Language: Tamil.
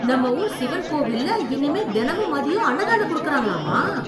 நம்ம ஊர் சிவன் கோவில்ல இனிமே தினமும் மதியம் அன்னதானம் குடுக்கறாங்களாமா.